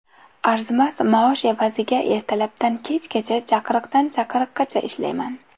Arzimas maosh evaziga ertalabdan kechgacha, chaqiriqdan chaqiriqqacha ishlayman.